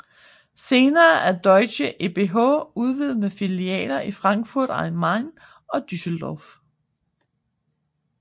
Senere er deutsche ebh udvidet med filialer i Frankfurt am Main og Düsseldorf